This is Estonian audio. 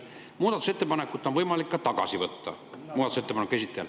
Muudatusettepaneku esitajal on võimalik muudatusettepanek ka tagasi võtta.